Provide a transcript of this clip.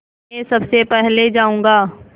मैं सबसे पहले जाऊँगा